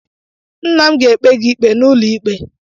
Nna m ga-ekpe gị ikpe n'ụlọ ikpe